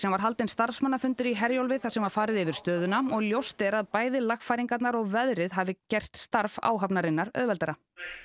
var haldinn starfsmannafundur í Herjólfi þar sem farið var yfir stöðuna og ljóst er að bæði lagfæringarnar og veðrið hafði gert starf áhafnarinnar auðveldara